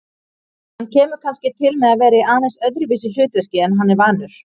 Hann kemur kannski til með að vera í aðeins öðruvísi hlutverki en hann er vanur.